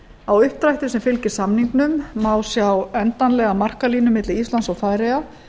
á uppdrætti sem fylgir samningnum má sjá endanlega markalínu milli íslands og færeyja